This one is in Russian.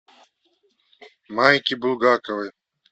майки булгаковой